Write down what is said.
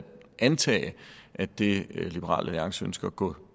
antage at det liberal alliance ønsker at gå